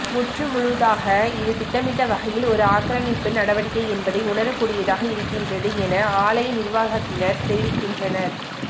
முற்றுமுழுதாக இது திட்டமிட்ட வகையில் ஒரு ஆக்கிரமிப்பு நடவடிக்கை என்பதை உணரக் கூடியதாக இருக்கின்றது என ஆலய நிர்வாகத்தினர் தெரிவிக்கின்றனர்